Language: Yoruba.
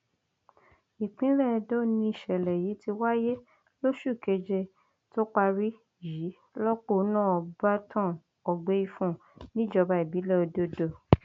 ìpínlẹ edo nìṣẹlẹ yìí ti wáyé lóṣù keje tó parí yìí lọpọnà byrton ọgbẹífun níjọba ìbílẹ ododo